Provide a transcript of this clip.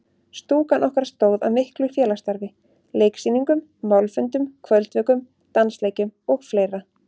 Stúkan okkar stóð að miklu félagsstarfi: Leiksýningum, málfundum, kvöldvökum, dansleikjum og fleira.